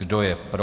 Kdo je pro?